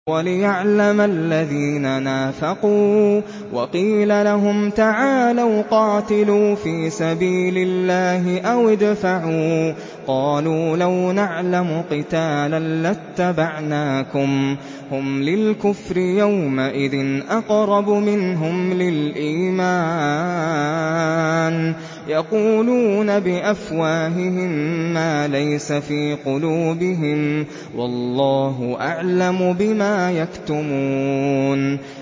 وَلِيَعْلَمَ الَّذِينَ نَافَقُوا ۚ وَقِيلَ لَهُمْ تَعَالَوْا قَاتِلُوا فِي سَبِيلِ اللَّهِ أَوِ ادْفَعُوا ۖ قَالُوا لَوْ نَعْلَمُ قِتَالًا لَّاتَّبَعْنَاكُمْ ۗ هُمْ لِلْكُفْرِ يَوْمَئِذٍ أَقْرَبُ مِنْهُمْ لِلْإِيمَانِ ۚ يَقُولُونَ بِأَفْوَاهِهِم مَّا لَيْسَ فِي قُلُوبِهِمْ ۗ وَاللَّهُ أَعْلَمُ بِمَا يَكْتُمُونَ